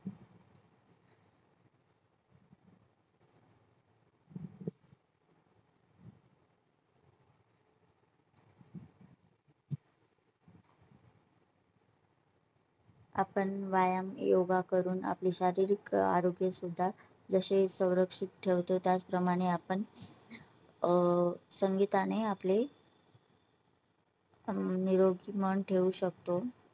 आपण व्यायाम योगा करून आपली शारीरिक आरोग्य सुद्धा जसे सुरक्षित ठेवतो. त्याचप्रमाणे आपण संगीताने आपले निरोगी मन ठेवू शकतो.